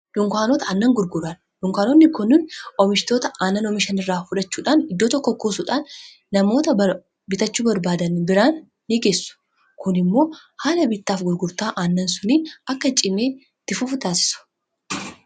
dunkaanota aannan gurguraan dhunkaanonni kunnin omishitoota aanan oomishan irraa fudhachuudhaan iddoo tokko kuusuudhaan namoota bitachuu barbaadan biraan ni geessu kun immoo haala bittaaf gurgurtaa aannan sunii akka cinee itti fufuu nitaasisu